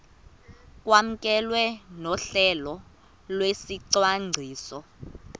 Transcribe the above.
kwamkelwe nohlelo lwesicwangciso